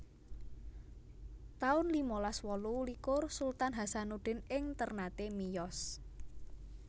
taun limalas wolu likur Sultan Hasanuddin ing Ternate miyos